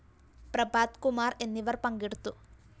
പ്രഭാത് കുമാര്‍ എന്നിവര്‍ പങ്കെടുത്തു